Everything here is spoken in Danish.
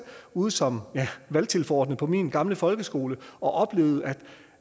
ude som valgtilforordnet på min gamle folkeskole og oplevede